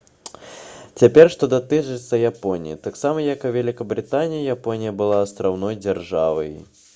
цяпер што датычыцца японіі таксама як і вялікабрытанія японія была астраўной дзяржавай